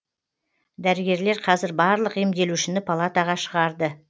дәрігерлер қазір барлық емделушіні палатаға шығарды